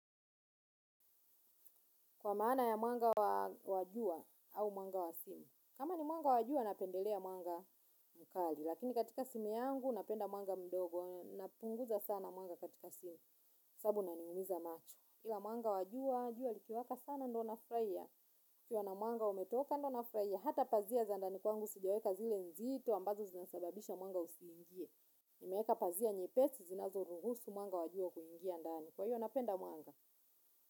Kwa maana ya mwanga wa jua au mwanga wa simu. Kama ni mwanga wa jua, napendelea mwanga mkali. Lakini katika simu yangu, napenda mwanga mdogo. Napunguza sana manga katika simu. Sababu unaniumiza macho. Ila mwanga wa jua, jua likiwaka sana ndio nafurahia. Kukiwa na mwanga umetoka ndo nafurahia, hata pazia za ndani kwangu sijaweka zile nzito. Ambazo zinasababisha mwanga usiingie. Nimeeka pazia nyepesi, zinazoruhusu mwanga wa jua kuingia ndani. Kwa hiyo, napenda mwanga.